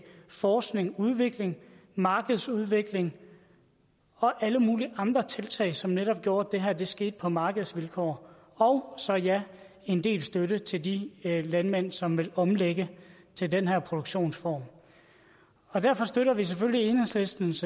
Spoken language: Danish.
forskning udvikling markedsudvikling og alle mulige andre tiltag som netop gjorde at det her skete på markedsvilkår og så ja en del støtte til de landmænd som vil omlægge til den her produktionsform derfor støtter vi selvfølgelig enhedslistens